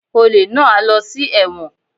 Olè náà á lọ sí ẹ̀wọ̀n